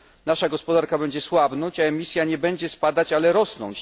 Nasza gospodarka będzie słabnąć, a emisja nie będzie spadać, ale rosnąć.